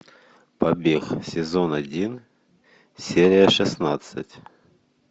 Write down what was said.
побег сезон один серия шестнадцать